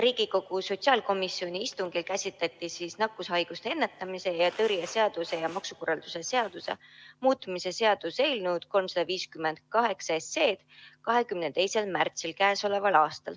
Riigikogu sotsiaalkomisjoni istungil käsitleti nakkushaiguste ennetamise ja tõrje seaduse ja maksukorralduse seaduse muutmise seaduse eelnõu 358 tänavu 22. märtsil.